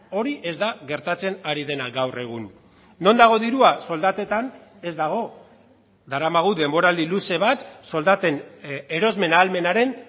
hori ez da gertatzen ari dena gaur egun non dago dirua soldatetan ez dago daramagu denboraldi luze bat soldaten erosmen ahalmenaren